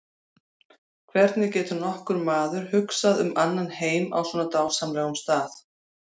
Hvernig getur nokkur maður hugsað um annan heim á svona dásamlegum stað.